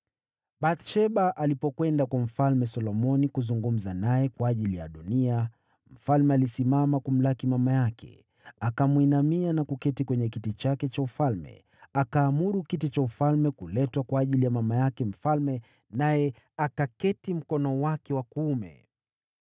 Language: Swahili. Bathsheba alipokwenda kwa Mfalme Solomoni kuzungumza naye kwa ajili ya Adoniya, mfalme alisimama kumlaki mama yake, akamwinamia na kuketi kwenye kiti chake cha ufalme. Akaamuru kiti cha ufalme kuletwa kwa ajili ya mama yake mfalme, naye akaketi mkono wake wa kuume.